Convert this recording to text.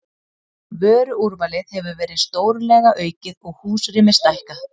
Vöruúrvalið hefur verið stórlega aukið og húsrými stækkað.